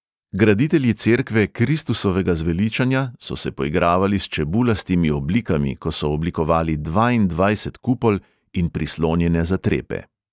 Graditelji cerkve kristusovega zveličanja so se poigravali s čebulastimi oblikami, ko so oblikovali dvaindvajset kupol in prislonjene zatrepe.